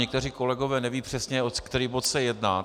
Někteří kolegové nevědí přesně, o který bod se jedná.